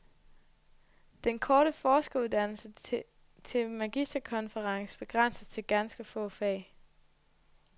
Den korte forskeruddannelse til magisterkonferens begrænses til ganske få fag.